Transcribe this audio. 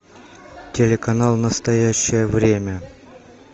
телеканал настоящее время